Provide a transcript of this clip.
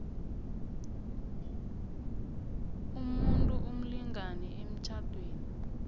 umuntu umlingani emtjhadweni